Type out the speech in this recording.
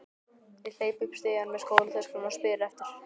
Ég hleyp upp stigann með skólatöskuna og spyr eftir